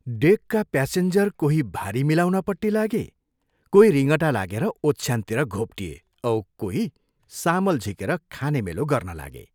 डेकका passenger कोही भारी मिलाउनपट्टि लागे, कोही रिङटा लागेर ओछ्यानतिर घोप्टिएर औ कोही सामल झिकेर खाने मेलो गर्न लागे।